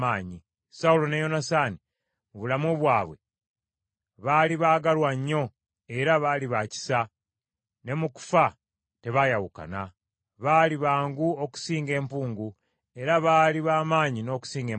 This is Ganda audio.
“Sawulo ne Yonasaani, mu bulamu bwabwe baali baagalwa nnyo era baali baakisa, ne mu kufa tebaayawukana. Baali bangu okusinga empungu, era baali b’amaanyi n’okusinga empologoma.